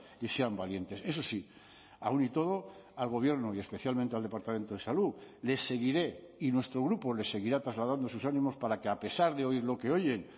y sean valientes eso sí aún y todo al gobierno y especialmente al departamento de salud les seguiré y nuestro grupo le seguirá trasladando sus ánimos para que a pesar de oír lo que oyen